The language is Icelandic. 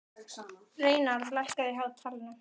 Reynarð, lækkaðu í hátalaranum.